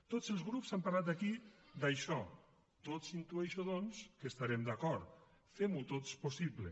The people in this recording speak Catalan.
tots els grups han parlat aquí d’això tots intueixo doncs que estarem d’acord femho tots possible